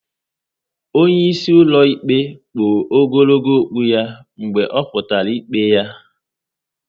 Onye isi ụlọ ikpe kpụ ogologo okpu ya mgbe o kwuputara ikpe ya